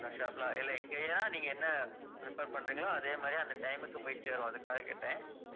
எங்க shop ல இல்லை இங்கயா நீங்க என்ன prefer பண்றீங்களோ அதே மாதிரி அந்த time க்கு போய்ச் சேரும் அதுக்காகக் கேட்டேன்.